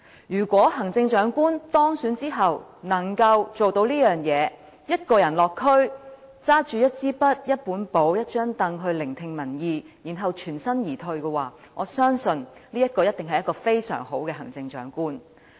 如果行政長官當選之後能夠做到這件事，一個人落區，拿着一支筆、一本簿、一張櫈聆聽民意，然後全身而退，我相信他一定是一位非常好的行政長官。